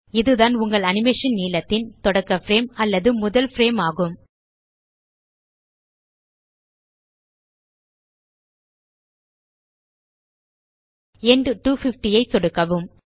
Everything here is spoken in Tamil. இதுதான் உங்கள் அனிமேஷன் நீளத்தின் தொடக்க பிரேம் அல்லது முதல் பிரேம் ஆகும் எண்ட் 250 ஐ சொடுக்கவும்